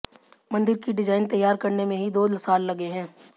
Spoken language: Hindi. मंदिर की डिजाइन तैयार करने में ही दो साल लगे हैं